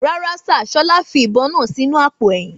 Rárá sìr, Ṣọlá fi ìbon náà sì inú àpò èyìn